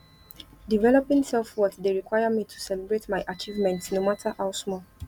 developing selfworth dey require me to celebrate my achievements no matter how small